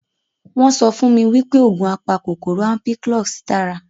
Wọn sọ fún mi wípé oògùn apakòkòrò Ampiclox dára